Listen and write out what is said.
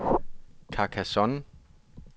Carcassonne